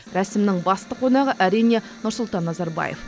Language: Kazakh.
рәсімнің басты қонағы әрине нұрсұлтан назарбаев